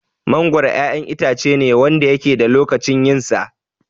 Mangoro 'yan itacene Wanda yake da lokacin yinsa